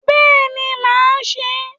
Bẹ́ẹ̀ni máà se e